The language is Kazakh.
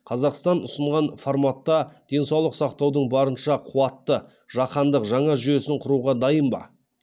қазақстан ұсынған форматта денсаулық сақтаудың барынша қуатты жаһандық жаңа жүйесін құруға дайын ба